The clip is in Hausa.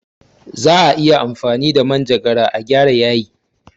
Za'a iya amfani da manjagara a gyara yayi.